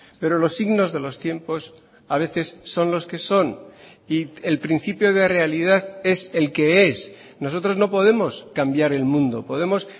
pero los signos de los tiempos a veces son los que son y el principio de realidad es el que es nosotros no podemos cambiar el mundo podemos